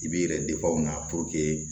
I b'i yɛrɛ de fɔ aw ma